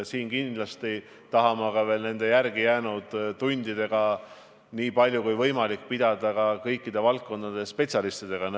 Me kindlasti tahame nende järelejäänud tundidega niipalju kui võimalik pidada nõu kõikide valdkondade spetsialistidega.